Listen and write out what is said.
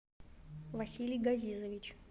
василий газизович